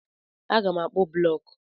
Aga m akpụ blọk.